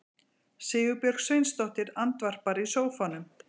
Sigurbjörg Sveinsdóttir andvarpar í sófanum.